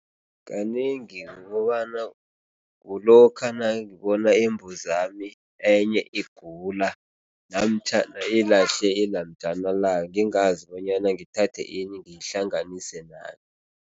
Kanengi kukobana kulokha nangibona imbuzami enye igula namtjhana ilahle ilamjana layo ngingazi bonyana ngithathe ini, ngihlanganise nani.